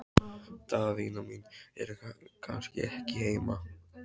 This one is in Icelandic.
Daðína mín er kannski ekki heima?